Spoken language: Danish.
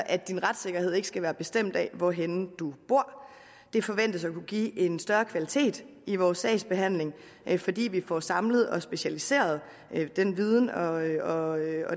at din retssikkerhed ikke skal være bestemt af hvorhenne du bor det forventes at kunne give en større kvalitet i vores sagsbehandling fordi vi får samlet og specialiseret den viden og